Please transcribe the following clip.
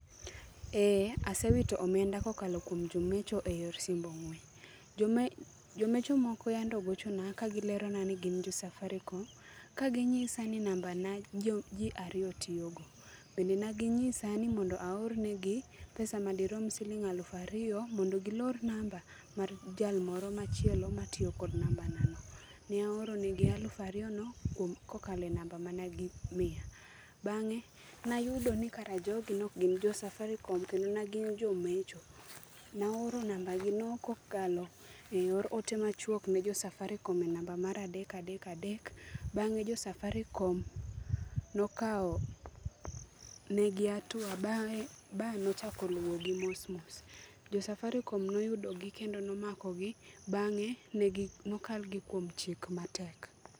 Ee, asewito omenda kokalo kuom jomecho e yor simb ong'we. Jome, jomecho moko yande ogochona ka gilero ni gin jo Safaricom, ka ginyisa ni namba na ji ariyo tiyo go. Bende ne gi nyisa ni aornegi pesa madirom siling aluf ariyo, mondo gilor namba mar jal moro machielo matiyogi kod namba na no. Ne aoro negi aluf ariyo no, kuom, kokalo e namba mane gimiya. Bangé ne ayudo ni kara jogi ne ok gin jo Safaricom, kendo ne gin jomecho. Ne aoro namba gi no kokalo e yor ote machuok ne jo Safaricom e namba mar adek, adek, adek. Bangé jo Safaricom nokao negi hatua ba nochako luo gi mos mos. Jo Safaricom noyudogi, kendo nomakogi, bangé negi, nokalgi kuom chik matek.